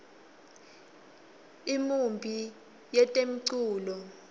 imiumbi yetemculo